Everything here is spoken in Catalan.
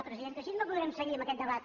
presidenta així no podrem seguir amb aquest debat